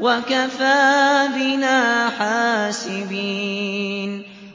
وَكَفَىٰ بِنَا حَاسِبِينَ